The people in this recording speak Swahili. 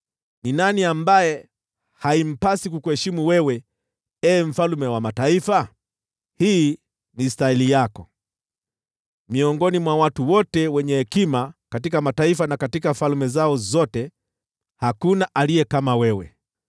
Ni nani ambaye haimpasi kukuheshimu wewe, Ee Mfalme wa mataifa? Hii ni stahili yako. Miongoni mwa watu wote wenye hekima katika mataifa na katika falme zao zote, hakuna aliye kama wewe.